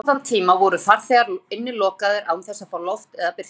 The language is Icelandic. Og mestallan þann tíma voru farþegar innilokaðir án þess að fá loft eða birtu.